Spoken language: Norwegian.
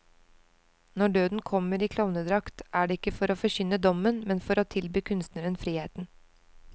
Når døden kommer i klovnedrakt, er det ikke for å forkynne dommen, men for å tilby kunstneren friheten.